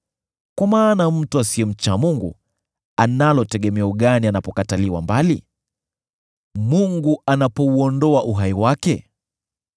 Kwa maana mtu asiyemcha Mungu analo tegemeo gani anapokatiliwa mbali, Mungu anapouondoa uhai wake?